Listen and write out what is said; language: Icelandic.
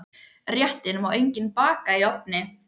Réttinn má einnig baka í ofni.